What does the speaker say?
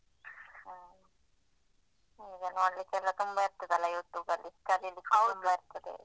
ಹ ಈಗ ನೋಡ್ಲಿಕ್ಕೆಲ್ಲಾ ತುಂಬ ಇರ್ತದಲ್ಲ YouTube ಅಲ್ಲಿ ಕಲೀಲಿಕ್ಕೆ ತುಂಬಾ ಇರ್ತದೆ.